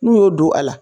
N'u y'o don a la